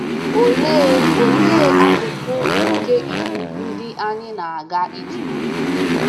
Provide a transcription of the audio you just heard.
Olee Olee akụkụ nke Iwu ndị anyị na - aga ịtụle